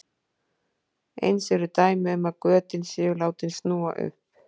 Eins eru dæmi um að götin séu látin snúa upp.